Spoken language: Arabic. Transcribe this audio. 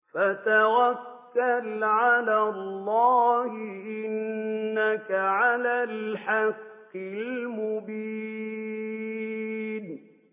فَتَوَكَّلْ عَلَى اللَّهِ ۖ إِنَّكَ عَلَى الْحَقِّ الْمُبِينِ